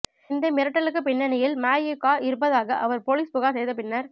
இந்த மருட்டலுக்கு பின்னணியில் மஇகா இருப்பதாக அவர் போலீஸ் புகார் செய்த பின்னர்